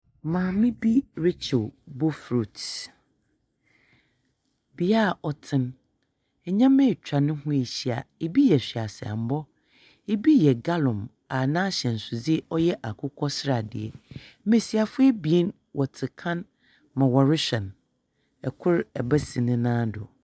Maame bi rekyew bofrot. Bea a ɔte no. Nnyɛma atwa no ho ahyia. Bi yɛ hweaeammɔ, bi yɛ gallon a n'ahyɛnsode yɛ akokɔsradeɛ. Mbesiafo abien wɔte kan ma wɔrehwɛ no. Kor, ba si ne nan do.